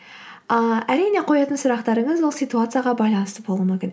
ыыы әрине қоятын сұрақтарыңыз ол ситуацияға байланысты болуы мүмкін